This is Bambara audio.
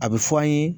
A bɛ fɔ an ye